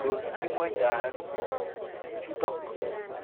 Tos kimwaitoi ano chutok